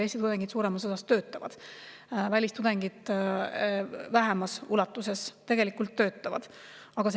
Eesti tudengid suuremas osas töötavad, välistudengid töötavad tegelikult väiksemas ulatuses.